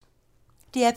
DR P3